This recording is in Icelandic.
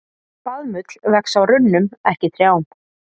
Baðmull vex á runnum, ekki trjám.